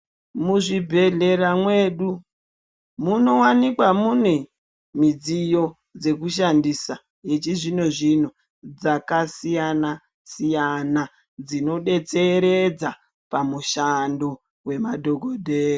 Muzvibhedlera mwedu munowanikwa mune midziyo dzekushandisa dzechizvino zvino dzakasiyana-siyana dzinodetseredza pamushando wemadhogodheya.